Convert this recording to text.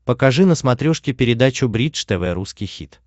покажи на смотрешке передачу бридж тв русский хит